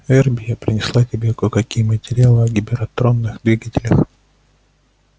эрби я принесла тебе кое-какие материалы о гиператомных двигателях